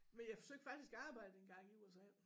Men jeg søgte faktisk arbejde engang i USA